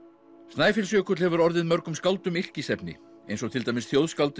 Snæfellsjökull hefur orðið mörgum skáldum yrkisefni eins og til dæmis